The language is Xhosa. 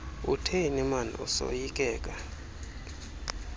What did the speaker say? utheni maan esoyikeka